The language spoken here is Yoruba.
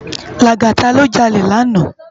Lagata lò jàlé làná